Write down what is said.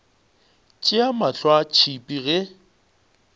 tšea mahlo a tšhipa ge